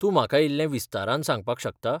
तूं म्हाका इल्लें विस्तारान सांगपाक शकता?